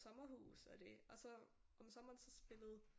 Sommerhus og det og så om sommeren så spillede